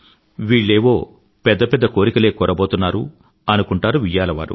వీళ్ళేవో పెద్ద పెద్ద కోరికలే కోరబోతున్నారు అనుకుంటారు వియ్యాలవారు